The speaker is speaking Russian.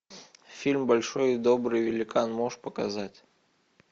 фильм большой и добрый великан можешь показать